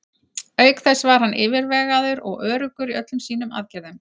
Auk þess var hann yfirvegaður og öruggur í öllum sínum aðgerðum.